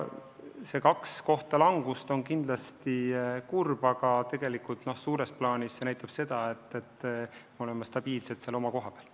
See kaks kohta langust on kindlasti kurb, aga tegelikult suures plaanis see näitab seda, et me oleme stabiilselt oma koha peal.